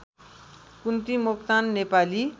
Kunti Moktan Nepali